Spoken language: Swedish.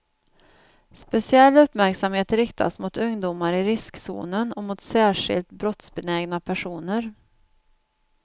Speciell uppmärksamhet riktas mot ungdomar i riskzonen och mot särskilt brottsbenägna personer.